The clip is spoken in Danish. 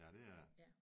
Ja det er det